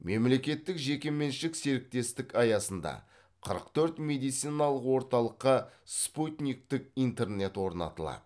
мемлекеттік жекеменшік серіктестік аясында қырық төрт медициналық орталыққа спутниктік интернет орнатылады